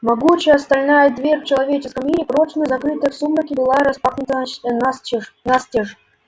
могучая стальная дверь в человеческом мире прочно закрытая в сумраке была распахнута настежь